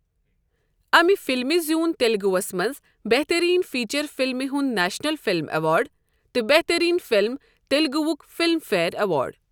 امہِ فلمہِ زیوٗن تیلگوَس منٛز بہترین فیچر فلم ہُنٛد نیشنل فلم ایوارڈ تہٕ بہترین فلم تیلگوُک فلم فیئر ایوارڈ۔